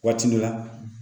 Waati min na